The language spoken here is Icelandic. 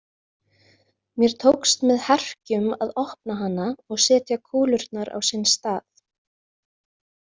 Mér tókst með herkjum að opna hana og setja kúlurnar á sinn stað.